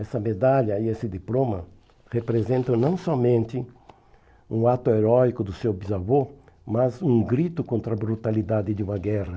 Essa medalha e esse diploma representam não somente um ato heróico do seu bisavô, mas um grito contra a brutalidade de uma guerra.